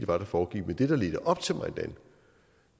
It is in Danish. var der foregik men det der ledte op til